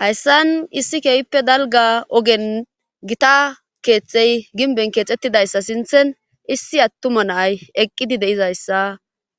Hayssan issi keehppe dalga ogen gita keexxey ginben keexxettidayssa sinthen issi attuma nay eqqidi deizayssa